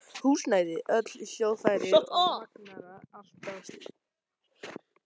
Húsnæði, öll hljóðfæri og magnara, allt draslið.